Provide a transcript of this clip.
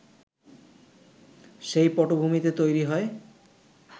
সেই পটভূমিতে তৈরি হয়